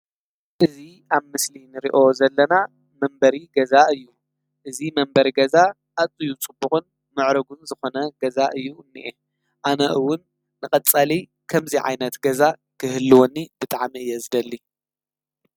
እዚ ኣብ ምስሊ እንሪኦ ዘለና መንበሪ ገዛ እዩ:: እዚ መንበሪ ገዛ ኣዝዩ ፅቡቕን ምዑሩጉን ዝኾነ ገዛ እዩ እኒሄ :: ኣነ እዉን ንቐፃሊ ከምዚ ዓይነት ገዛ ክህልወኒ ብጣዕሚ እየ ዝደሊ::